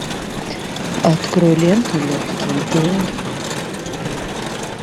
открой ленту легкие деньги